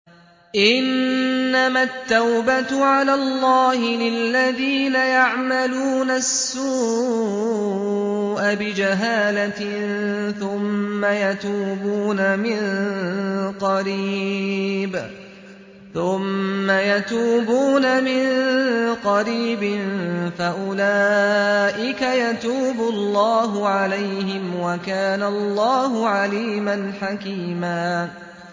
إِنَّمَا التَّوْبَةُ عَلَى اللَّهِ لِلَّذِينَ يَعْمَلُونَ السُّوءَ بِجَهَالَةٍ ثُمَّ يَتُوبُونَ مِن قَرِيبٍ فَأُولَٰئِكَ يَتُوبُ اللَّهُ عَلَيْهِمْ ۗ وَكَانَ اللَّهُ عَلِيمًا حَكِيمًا